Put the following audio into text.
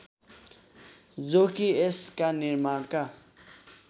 जो कि यसका निर्माणका